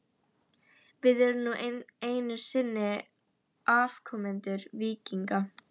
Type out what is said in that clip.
Við erum nú einu sinni afkomendur víkinga.